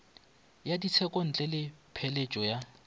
ya tshekontle le pheletšo ya